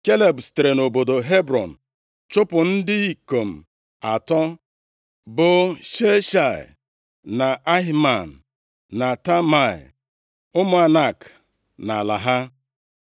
Kaleb sitere nʼobodo Hebrọn chụpụ ndị ikom atọ, bụ Sheshai, na Ahiman, na Talmai, ụmụ Anak nʼala ha.